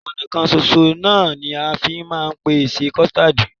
Ọna kan soso náà ni a fi máa ń pèsè kọ̀stáádì.